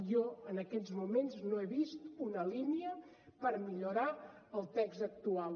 jo en aquests moments no he vist una línia per millorar el text actual